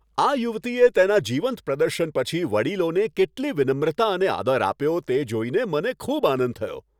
આ યુવતીએ તેના જીવંત પ્રદર્શન પછી વડીલોને કેટલી વિનમ્રતા અને આદર આપ્યો, તે જોઈને મને ખૂબ આનંદ થયો.